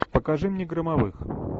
покажи мне громовых